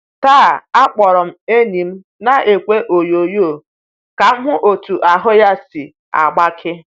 Taa, akpọrọ enyi m n'ekwe onyoonyo ka m hụ otú ahụ́ ya si agbake.